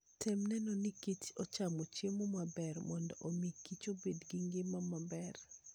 Tem neno ni kich ochamo chiemo maber mondo omi kich obed gi ngima maber.